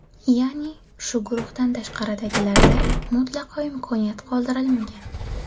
Ya’ni, shu guruhdan tashqaridagilarda mutlaqo imkoniyat qoldirilmagan.